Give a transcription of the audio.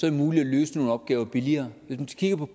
det muligt at løse nogle opgaver billigere